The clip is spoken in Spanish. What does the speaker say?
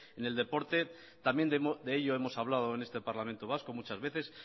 en el deporte también de ello hemos hablado en este parlamento vasco muchas veces